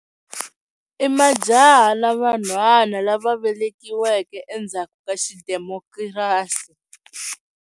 I majaha na vanhwana lava velekiweke endzhaku ka xidemokirasi.